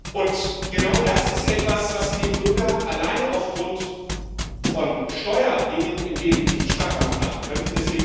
Und genau das ist etwas, was Sie dem Bürger alleine aufgrund von Steuerdingen im Leben nicht schmackhaft machen könnten.